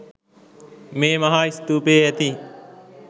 මේ මහා ස්තූපයේ ඇති